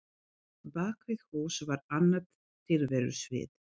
Bak við hús var annað tilverusvið.